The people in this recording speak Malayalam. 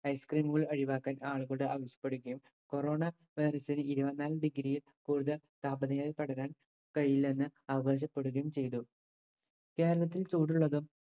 ice cream കൾ ഒഴിവാക്കാൻ ആളുകളോട് ആവശ്യപ്പെടുകയും corona virus ന് ഇരുപത്തിനാല് degree യിൽ കൂടുതൽ താപനിലയിൽ പടരാൻ കഴിയില്ലെന്ന് അവകാശപ്പെടുകയും ചെയ്തു. കേരളത്തിൽ ചൂടുള്ളതും